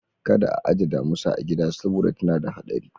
Kada a aje damusa a gida saboda tana da hadari.